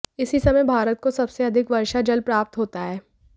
इसी समय भारत को सबसे अधिक वर्षा जल प्राप्त होता है